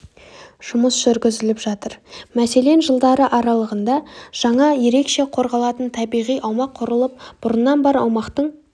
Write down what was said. жұмыс жүргізіліп жатыр мәселен жылдары аралығында жаңа ерекше қорғалатын табиғи аумақ құрылып бұрыннан бар аумақтың